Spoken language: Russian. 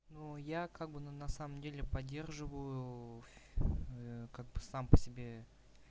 ну я как бы но на самом деле поддерживаю как бы сам по себе